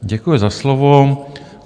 Děkuji za slovo.